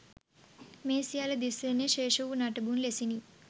මේ සියල්ල දිස් වන්නේ ශේෂ වූ නටබුන් ලෙසිනි